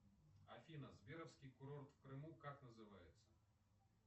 афина сберовский курорт в крыму как называется